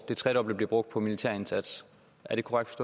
det tredobbelte bliver brugt på militærindsats er det korrekt